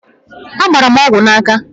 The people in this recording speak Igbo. Agbara m ọgwụ n'aka